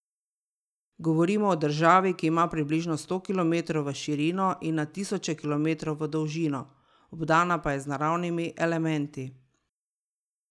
Govorimo o državi, ki ima približno sto kilometrov v širino in na tisoče kilometrov v dolžino, obdana pa je z naravnimi elementi.